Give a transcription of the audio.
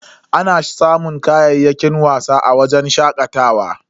Ana samun kayayyakin wasa a wajen shakatawa.